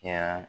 Kɛra